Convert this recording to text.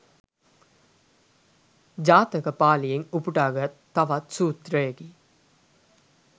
ජාතක පාලියෙන් උපුටාගත් තවත් සූත්‍රයකි.